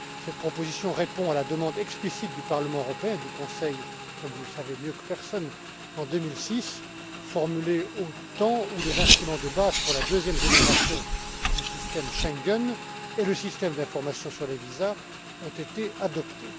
Cette proposition répond à la demande explicite du Parlement européen et du Conseil, comme vous le savez mieux que personne, formulée en 2006, au temps où les instruments de base pour la deuxième génération du système Schengen et le système d'information sur les visas ont été adoptés.